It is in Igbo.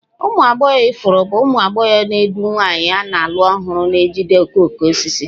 Ụmụ agbọghọ ifuru bụ ụmụ agbọghọ na-edu nwanyị a na-alụ ọhụrụ na-ejide okooko osisi.